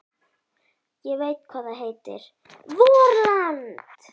Ég veit hvað það heitir: VORLAND!